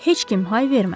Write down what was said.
Heç kim hay vermədi.